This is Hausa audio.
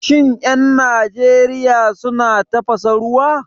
Shin 'yan Najeriya suna tafasa ruwa?